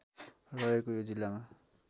रहेको यो जिल्लामा